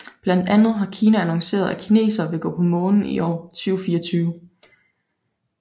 Blandt andet har Kina annonceret at kinesere vil gå på Månen i år 2024